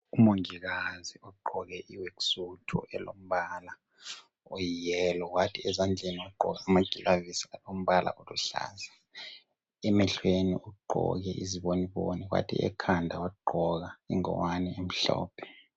Umongikazi ogqoke i"worksuit" elombala oyi"yellow" wathi ezandleni wagqoka amagilovisi alombala oluhlaza. Emehlweni ugqoki iziboniboni wathi ekhanda wagqoka ingwane emhlophe.